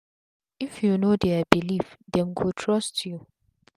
if u know dia belief dem go trust u